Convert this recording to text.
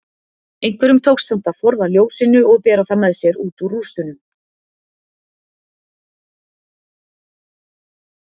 Einhverjum tókst samt að forða ljósinu og bera það með sér út úr rústunum.